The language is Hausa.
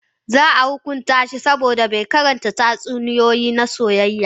Za a hukunta shi saboda bai karanta tatsuniyoyi na soyayya.